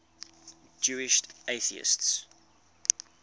jewish atheists